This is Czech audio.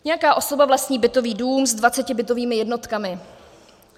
Nějaká osoba vlastní bytový dům s 20 bytovými jednotkami.